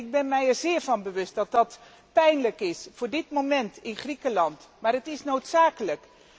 Ik ben mij er zeer van bewust dat dat pijnlijk is op dit moment in Griekenland, maar het is noodzakelijk.